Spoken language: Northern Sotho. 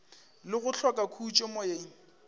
le go hloka khutšo moyeng